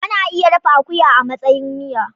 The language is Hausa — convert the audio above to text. Ana iya dafa akuya a matsayin miya.